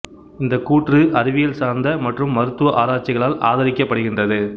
இந்தக் கூற்று அறிவியல் சார்ந்த மற்றும் மருத்துவ ஆராய்ச்சிகளால் ஆதரிக்கப்படுகின்றது